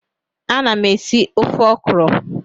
Ana m esi ofe ọkrọ